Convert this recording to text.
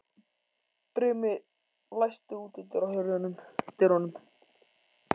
Brimi, læstu útidyrunum.